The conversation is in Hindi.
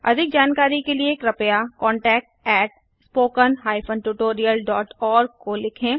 अधिक जानकारी के लिए कृपया contactspoken tutorialorg को लिखें